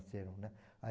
né. Ai,